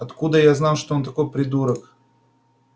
откуда я знал что он такой придурок